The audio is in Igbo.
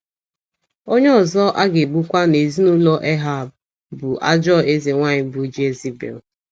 Onye ọzọ a ga - egbukwa n’ezinụlọ Ehab bụ ajọ eze nwaanyị bụ́ Jezibel.